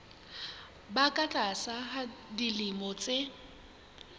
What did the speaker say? ba ka tlasa dilemo tse